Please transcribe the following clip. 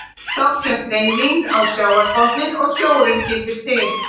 Þá kemst hreyfing á sjávarbotninn og sjórinn kippist til.